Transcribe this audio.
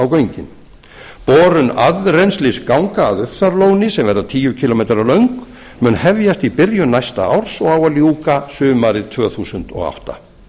göngin borun aðrennslisganga að ufsarlóni sem verða tíu kílómetra löng mun hefjast í byrjun næsta árs og á að ljúka sumarið tvö þúsund og átta